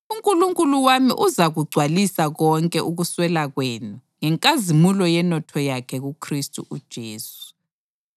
UNkulunkulu wami uzakugcwalisa konke ukuswela kwenu ngenkazimulo yenotho yakhe kuKhristu uJesu.